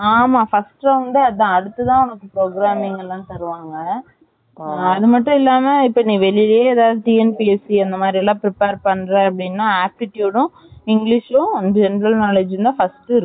ஆமா first round யே அதுதான் அடுத்து தான் Programming லாம் தருவாங்க அது மட்டும் இல்லாம நீ இப்ப.வெளிலயே எதாவது TNPSC எல்லாம் prepare பண்ற அப்படின்னா aptitude ம், English ம் general Knowledge தான் first